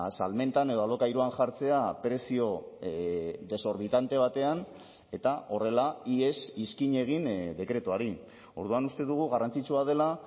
salmentan edo alokairuan jartzea prezio desorbitante batean eta horrela ihes iskin egin dekretuari orduan uste dugu garrantzitsua dela